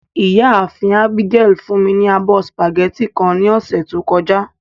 Iyaafin Abigail fun mi ni abọ spaghetti kan ni ọsẹ to kọja.